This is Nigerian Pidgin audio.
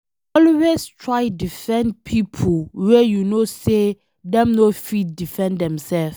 Always try defend pipo wey you know say dem no fit defend dimselves